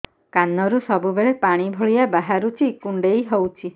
କାନରୁ ସବୁବେଳେ ପାଣି ଭଳିଆ ବାହାରୁଚି କୁଣ୍ଡେଇ ହଉଚି